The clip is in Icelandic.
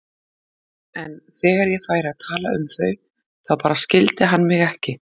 En þegar ég færi að tala um þau þá bara skildi hann mig ekki.